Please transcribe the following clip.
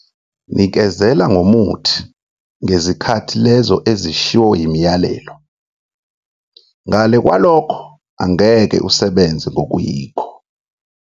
Nikezela ngomuthi ngezikhathi lezo ezishiwo yimiyalelo, ngale kwalokho angeke usebenze ngokuyikho.